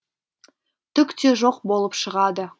түк те жоқ болып шығады